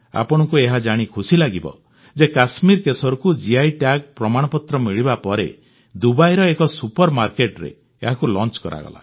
ଆପଣଙ୍କୁ ଏହା ଜାଣି ଖୁସି ଲାଗିବ ଯେ କଶ୍ମୀରି କେଶରକୁ ଜିଆଇ ଟ୍ୟାଗ ପ୍ରମାଣପତ୍ର ମିଳିବା ପରେ ଦୁବାଇର ଏକ ସୁପର୍ମାର୍କେଟରେ ଏହାକୁ ଲାଞ୍ଚ କରାଗଲା